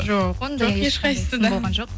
жоқ жоқ ешқайсысы да болған жоқ